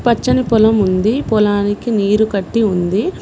పచ్చని పొలం ఉంది పొలానికి నీరు కట్టి ఉంది.